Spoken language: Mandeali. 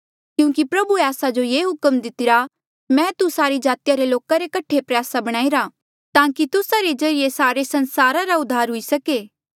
क्यूंकि प्रभुए आस्सा जो ये हुक्म दितिरा मैं तू सारी जातिया रे लोका रे कठे प्रयासा बणाईरा ताकि तुस्सा रे ज्रीए सारा संसारा रा उद्धार हुई सके